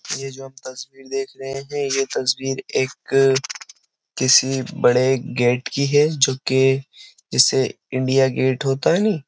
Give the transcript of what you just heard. यह जो हम तस्वीर देख रहे हैं यह तस्वीर एक किसी बड़े गेट की है जो कि जिसे इंडिया गेट होता है नहीं --